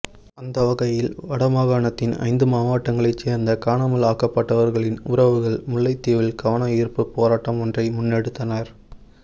அந்த வகையில் வடமாகாணத்தின் ஜந்து மாவட்டங்களைச் சேர்ந்த காணாமல் ஆக்கப்பட்டவர்களின் உறவுகள் முல்லைத்தீவில் கவனயீர்ப்பு போராட்டம் ஒன்றை முன்னெடுத்தனர்